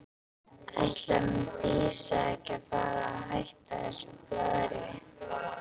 Ætlar hún Dísa ekki að fara að hætta þessu blaðri?